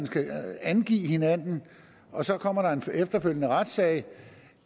skal angive hinanden og så kommer der en efterfølgende retssag